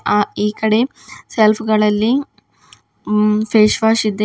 ಆ ಈಕಡೆ ಸೆಲ್ಫ್ ಗಳಲ್ಲಿ ಫೇಸ್ ವಾಶ್ ಇದೆ.